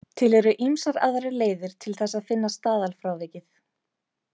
Til eru ýmsar aðrar leiðir til þess að finna staðalfrávikið.